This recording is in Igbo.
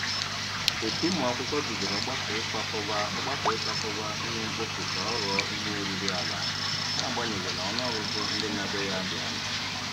Otu ụmụakwụkwọ bidoro ọgbakọ ikwakọba ọgbakọ ikwakọba ihe mkpofu ka ọ ghọọ ihe oriri ala, n'agbanyeghị na ọnụọgụgụ ndị na-abịa ya dị ala.